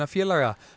félaga